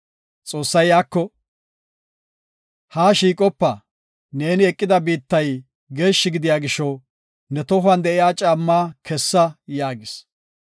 Xoossay iyako, “Haa shiiqopa. Neeni eqida biittay geeshshi gidiya gisho, ne tohuwan de7iya caammaa kessa” yaagis.